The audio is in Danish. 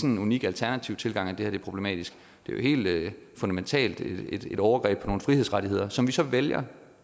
en unik alternativ tilgang at det her er problematisk det er jo helt fundamentalt et overgreb på nogle frihedsrettigheder som man så vælger